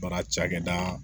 Baara cakɛda